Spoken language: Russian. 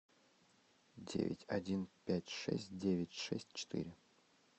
девять один пять шесть девять шесть четыре